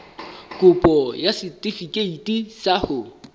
kopo ya setefikeiti sa ho